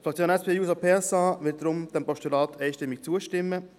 Die Fraktion SP-JUSO-PSA wird diesem Postulat deshalb einstimmig zustimmen.